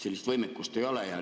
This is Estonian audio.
Sellist võimekust ei ole.